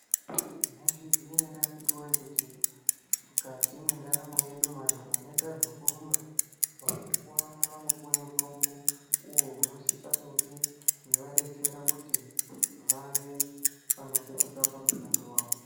Mai zviziya ere akiti woye kuti mukati mwe ndaramo yedu vantu vanoita zveku rumba vano puwe mutombo uwo uno sisa kunge eiwa detsera kuti vave vano petuka pa mushando wawo.